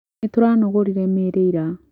Nĩtũranogorire mĩrĩ ira